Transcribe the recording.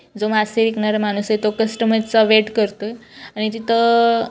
जो मासे विकणारा माणूस आहे तो कस्टमर चा वेट करतोय आणि तिथ--